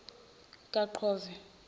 kaqove